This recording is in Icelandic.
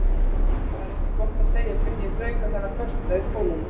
Það er ekki gott að segja hvernig ég þrauka þennan föstudag í skólanum.